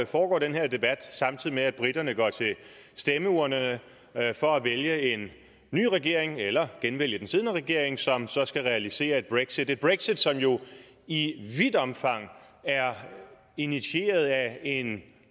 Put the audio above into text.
foregår den her debat samtidig med at briterne går til stemmeurnerne for at vælge en ny regering eller genvælge den siddende regering som så skal realisere et brexit et brexit som jo i vidt omfang er initieret af en